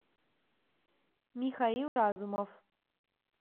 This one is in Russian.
михаил разумов